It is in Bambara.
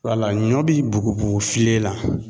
Wala ɲɔ bi bugubugu filen na